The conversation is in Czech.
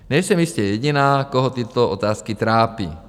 Nejsem jistě jediná, koho tyto otázky trápí.